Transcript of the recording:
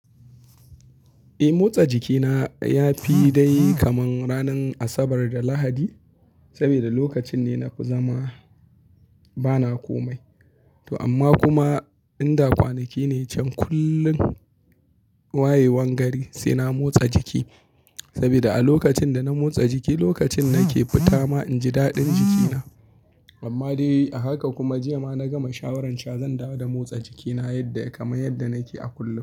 Eh motsa jikina ya fi dai kaman ranar Asabar da Lahadi, sabida lokacin ne na fizama bana komai. To amma kuma inda kwanaki ne can kullum wayewan gari sai na motsa jiki. Sabida a lokacin da na motsa jiki lokacin nake fita ma inji daɗin jikina. Amma dai a haka kuma jiya ma na gama shawaran sha zan dawo da motsa jikina yadda ya kamai yadda nake a kullum.